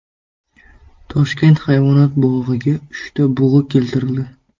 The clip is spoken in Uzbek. Toshkent hayvonot bog‘iga uchta bug‘u keltirildi.